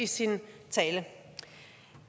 i sin tale